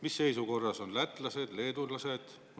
Mis seisus on lätlased ja leedukad?